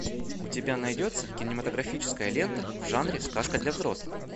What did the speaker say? у тебя найдется кинематографическая лента в жанре сказка для взрослых